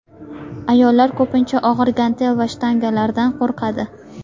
Ayollar ko‘pincha og‘ir gantel va shtangalardan qo‘rqadi.